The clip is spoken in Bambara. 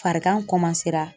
Farigan